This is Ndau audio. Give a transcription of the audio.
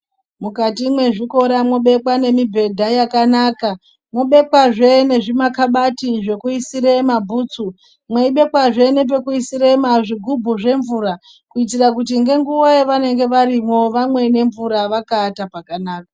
Mukati mwezvikora mwobekwa nemibhedha yakanaka, mobekwazve nezvimakabati zvokuyisire mabhutsu, mweyibekwazve nepekuyisira zvigumbu zvemvura ,kuyitira kuti ngenguva yavanenge varimwo vamwe nemvura vakaata pakanaka.